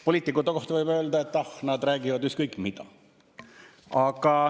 Poliitikute kohta võib öelda, et ah, nad räägivad ükskõik mida.